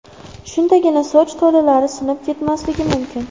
Shundagina soch tolalari sinib ketmasligi mumkin.